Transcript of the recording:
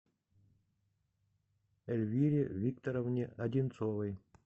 эльвире викторовне одинцовой